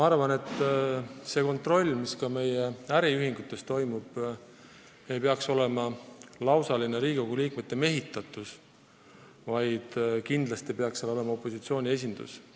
Ja seegi kontroll, mis meie äriühingutes toimub, ei peaks olema lihtsalt Riigikogu kontroll, vaid sealgi peaks kindlasti olema opositsioon esindatud.